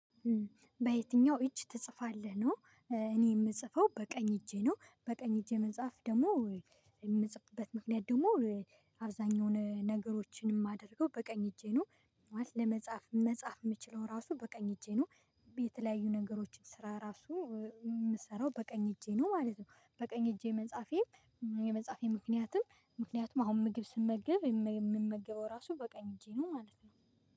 በየትኛው እጅ ትጽፋለህ? ነው እኔ የምጽፈው በቀኝ እጄ ነው። በቀኝ እጄ መጻፍ ደግሞ የምትጽበት ምክንያት ደግሞ አብዛኛውን ነገሮችን የማደርገው በቀኝ እጄ ነው ለመጻፍ መጻፍ የምችለው ራሱ በቀኝ እጄ ነው የተለያዩ ነገሮችን ስራ ራሱ የምሰራው በቀኝ እጄ ነው ማለት ነው። በቀኝ እጄ መጻፌ የመጻፌ ምክንያትም ምክንያቱም አሁን ምግብ ስመገብ የምመገበው ራሱ በቃኝ እጄ ነው ማለት ነው